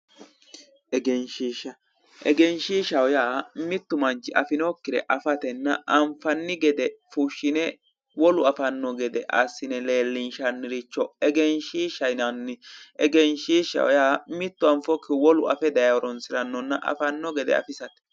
egeenshiishshaho yaa mittu manchi afinokkire afatenna afinokkire anfanni gede fushshine wolu afanno gede leellinshanniricho egenshiishsha yinanni egenshiishshaho yaa mittu anfokkihu wolu afe daye horonsiranno gedenna afanno gede afisate.